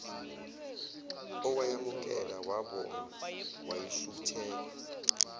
owayamukela wabonga wayishutheka